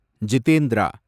Jitendra